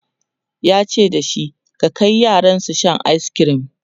yace da shi"ka Kai yaran su Sha ayiskirim!"